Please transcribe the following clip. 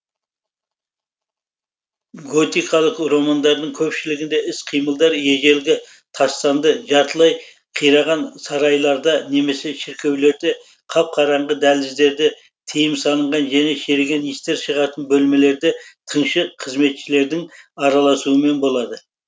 готикалық романдардың көпшілігінде іс қимылдар ежелгі тастанды жартылай қираған сарайларда немесе шіркеулерде қап қараңғы дәліздерде тыйым салынған және шіріген иістер шығатын бөлмелерде тыңшы қызметшілердің араласуымен болады